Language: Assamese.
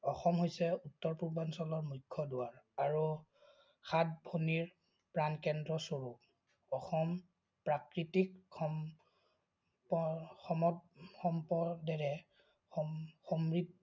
অসম হৈছে উত্তৰ-পূৰ্বাঞ্চলৰ মুখ্য দুৱাৰ আৰু সাতভনীৰ প্ৰাণকেন্দ্ৰ স্বৰূপ। অসম প্ৰাকৃতিক সম সমত সম্পদেৰে সম সমৃদ্ধি-